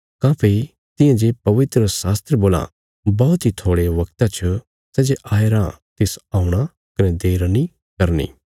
काँह्भई तियां जे पवित्रशास्त्र बोलां बौहत इ थोड़े वगता च सै जे आया रां तिस औणा कने देर नीं करनी